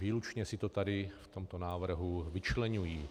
Výlučně si to tady v tomto návrhu vyčleňují.